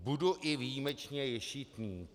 Budu i výjimečně ješitný.